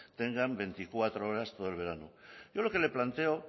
tengan veinticuatro horas todo el verano yo lo que le planteo